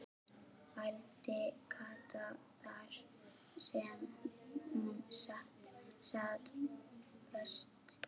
vældi Kata þar sem hún sat föst.